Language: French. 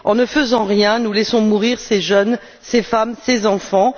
En ne faisant rien, nous laissons mourir ces jeunes, ces femmes et ces enfants.